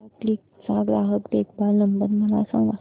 Tata Cliq चा ग्राहक देखभाल नंबर मला सांगा